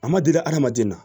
A ma deli hadamaden na